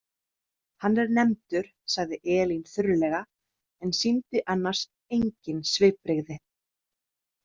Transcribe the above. Hann er nefndur, sagði Elín þurrlega en sýndi annars engin svipbrigði.